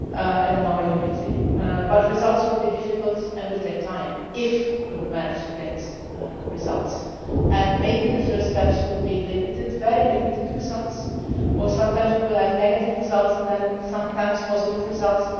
and on our unity results will be difficult and will take time, that is if we manage to get results. Maybe the first steps will be very limited results, or sometimes we will have negative results and then sometimes positive results.